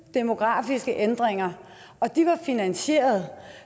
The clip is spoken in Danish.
demografiske ændringer og de var finansieret